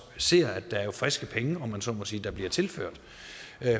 ser at der er friske penge om man så må sige der bliver tilført